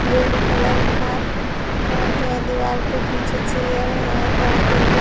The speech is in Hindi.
रेड कलर का पेंट है दीवार पे पीछे चेयर है और टेबल --